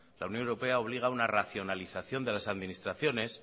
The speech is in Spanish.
la unión europea obliga una racionalización de las administraciones